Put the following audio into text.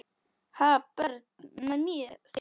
Ha, börn með þér?